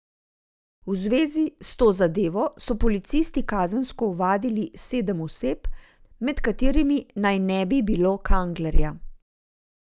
V zvezi s to zadevo so policisti kazensko ovadili sedem oseb, med katerimi naj ne bi bilo Kanglerja.